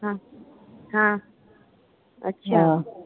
ਹਾਂ ਹਾਂ ਅੱਛਾ।